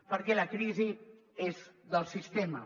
perquè la crisi és del sistema